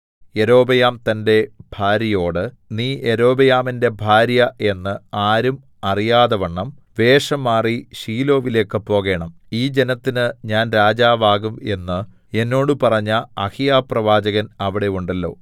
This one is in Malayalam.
യൊരോബെയാം തന്റെ ഭാര്യയോട് നീ യൊരോബെയാമിന്റെ ഭാര്യ എന്ന് ആരും അറിയാതവണ്ണം വേഷംമാറി ശീലോവിലേക്ക് പോകേണം ഈ ജനത്തിന് ഞാൻ രാജാവാകും എന്ന് എന്നോട് പറഞ്ഞ അഹീയാപ്രവാചകൻ അവിടെ ഉണ്ടല്ലോ